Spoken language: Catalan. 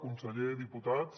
conseller diputats